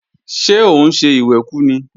Ṣé òun ń ṣe ìwẹ̀kú ni?